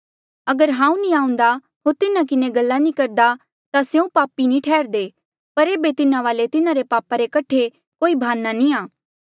अगर हांऊँ नी आऊंदा होर तिन्हा किन्हें गल्ला नी करदा ता स्यों पापी नी ठैहरदे पर एेबे तिन्हा वाले तिन्हारे पापा रे कठे कोई भाना नी आ